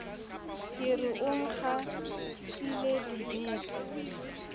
ke re o nkgitlile dibete